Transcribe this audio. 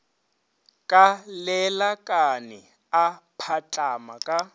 ka lelakane a patlama ka